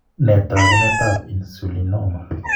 Ne taakunetab Insulinoma?